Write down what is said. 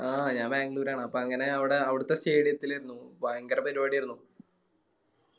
ആ ഞാ ബാംഗ്ലൂരാണ് അപ്പൊ അങ്ങനെ അവിടെ അവിടുത്തെ Stadium ലേരുന്നു ഭയങ്കര പരിപാടിയാരുന്നു